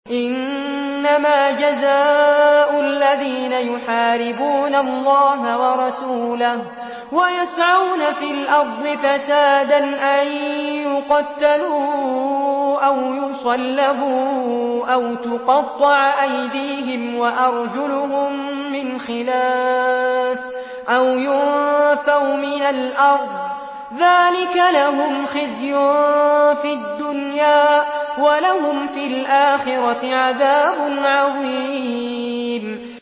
إِنَّمَا جَزَاءُ الَّذِينَ يُحَارِبُونَ اللَّهَ وَرَسُولَهُ وَيَسْعَوْنَ فِي الْأَرْضِ فَسَادًا أَن يُقَتَّلُوا أَوْ يُصَلَّبُوا أَوْ تُقَطَّعَ أَيْدِيهِمْ وَأَرْجُلُهُم مِّنْ خِلَافٍ أَوْ يُنفَوْا مِنَ الْأَرْضِ ۚ ذَٰلِكَ لَهُمْ خِزْيٌ فِي الدُّنْيَا ۖ وَلَهُمْ فِي الْآخِرَةِ عَذَابٌ عَظِيمٌ